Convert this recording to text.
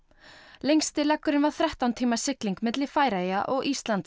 lengsti leggurinn var þrettán tíma sigling milli Færeyja og Íslands